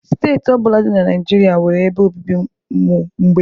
steeti ọ bụla dị na Naijiria nwere ebe obibi ụmụ mgbei.